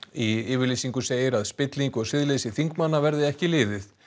í yfirlýsingu segir að spilling og siðleysi þingmanna verði ekki liðið